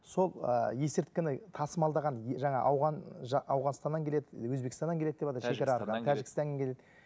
сол ы есірткіні тасымалдаған жаңа ауғанстаннан келеді өзбекстаннан келеді деватыр тәжікстаннан келеді